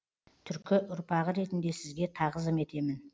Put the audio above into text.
түркі ұрпағы ретінде сізге тағзым етемін